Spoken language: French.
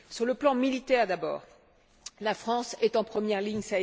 Sur le plan militaire d'abord, la France est en première ligne.